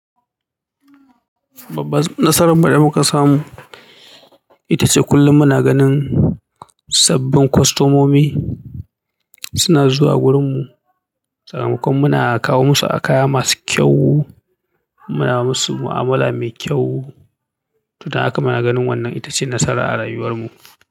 Babban nasarar mu da muka samu ita ce kullum muna ganin sabbin kwastomomi suna zuwa wurinmu. Saboda kuma muna kawo musu akaya masu kyau, muna musu mu'amala mai kyau. To dan haka muna ganin wannan ita ce nasara a rayuwar mu.